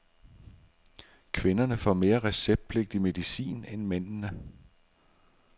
Kvinderne får mere receptpligtig medicin end mændene.